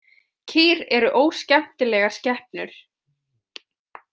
Kýr eru óskemmtilegar skepnur.